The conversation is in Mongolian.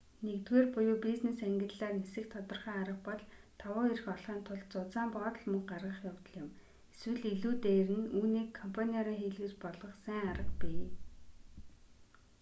нэгдүгээр буюу бизнес ангиллаар нисэх тодорхой арга бол давуу эрх олохын тулд зузаан боодол мөнгө гаргах явдал юм эсвэл илүү дээр нь үүнийг компаниараа хийлгэж болох сайн арга бий